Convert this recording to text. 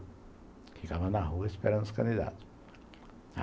Ficava na rua esperando os candidatos.